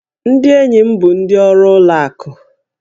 Ndị enyi m bụ ndị ọrụ ụlọ akụ